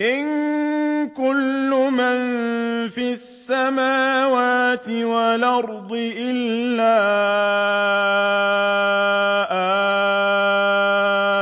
إِن كُلُّ مَن فِي السَّمَاوَاتِ وَالْأَرْضِ إِلَّا